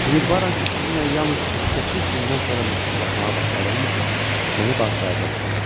Ümidvaram ki, sizinlə yalnız 38 gündən sonra məktublaşmağa başladığım üçün məni bağışlayacaqsınız.